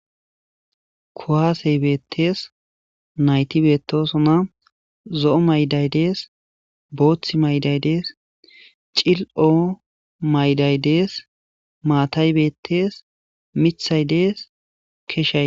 Kowaasey beettees nayti beetosona zo7o mayday dees booththi mayday dees cil7o mayday dees maatay beettees mithay dees keshay.